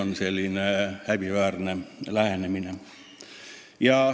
Ka see on häbiväärne lähenemine.